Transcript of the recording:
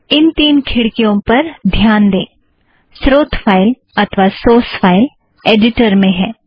इन तीन खिड़कियों पर ध्यान दें - स्रोत फ़ाइल अथ्वा सोर्स फ़ाइल ऐड़िटर में है